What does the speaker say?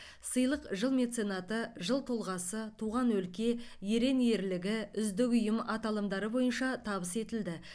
сыйлық жыл меценаты жыл тұлғасы туған өлке ерен ерлігі үздік ұйым аталымдары бойынша табыс етілді